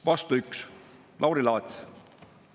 Vastu 1: Lauri Laats.